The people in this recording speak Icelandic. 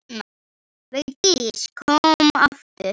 Vigdís kom aftur.